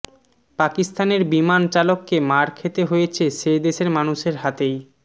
পাকিস্তানের বিমান চালককে মার খেতে হয়েছে সে দেশের মানুষের হাতেই